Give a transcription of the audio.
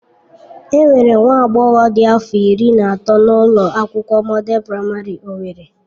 Enwere nwa agbọghọ dị afọ iri na atọ na ụlọ akwụkwọ Mọdel Praịmarị owerri.